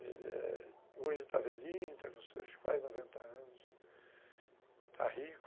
Hoje ele está velhinho, está com seus quase noventa anos, está rico.